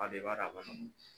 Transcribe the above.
i b'a dɔn a man nɔgɔ.